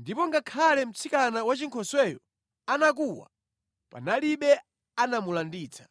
ndipo ngakhale mtsikana wachinkhosweyo anakuwa, panalibe anamulanditsa.